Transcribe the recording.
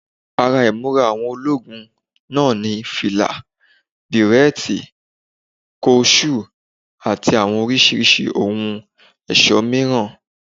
Ara ìmúra àwọn ológun náà ni fìlà, bẹ̀rẹ́ẹ̀tì, kọ ṣúù àti àwọn oríṣiríṣi ohun ẹ̀ṣọ́ mìíràn